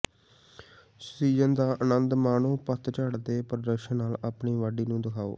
season ਦਾ ਆਨੰਦ ਮਾਣੋ ਪਤਝੜ ਦੇ ਪ੍ਰਦਰਸ਼ਨ ਨਾਲ ਆਪਣੀ ਵਾਢੀ ਨੂੰ ਦਿਖਾਓ